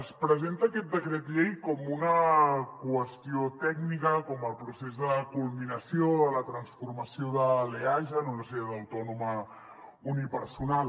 es presenta aquest decret llei com una qüestió tècnica com el procés de culminació de la transformació de l’eaja en una societat autònoma unipersonal